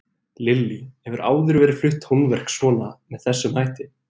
Lillý: Hefur áður verið flutt tónverk svona með þessum hætti?